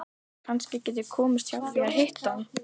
Kannski get ég komist hjá því að hitta hann.